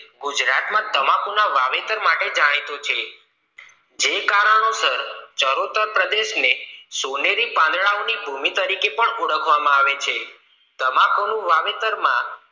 ગુજરાત ના તમાકુના વાવેતર માટે જાણીતું છે જે કારણોસર ચરોતર પ્રદેશ ને સોનેરી પાંદડાની ભૂમિ તરીકે પણ ઓળખવા માં આવે છે તમાકુ ના વાવેતર માં